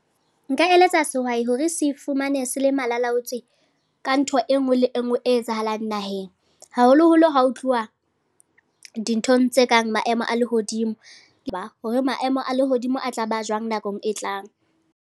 Nka eletsa sehwai hore se fumane se le malalaotswe, ka ntho enngwe le enngwe e etsahalang naheng. Haholoholo ha ho tluwa dinthong tse kang maemo a lehodimo, hore maemo a lehodimo a tla ba jwang nakong e tlang.